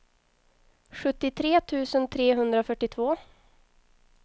sjuttiotre tusen trehundrafyrtiotvå